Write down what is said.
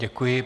Děkuji.